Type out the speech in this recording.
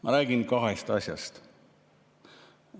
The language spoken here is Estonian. Ma räägin kahest asjast.